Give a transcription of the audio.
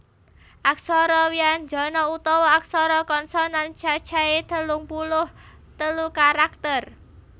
Aksara wyanjana utawa aksara konsonan cacahé telung puluh telu karakter